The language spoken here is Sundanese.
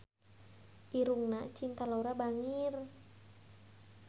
Irungna Cinta Laura bangir